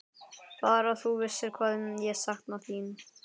Bara að þú vissir hvað ég sakna þín.